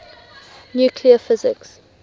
nuclear physics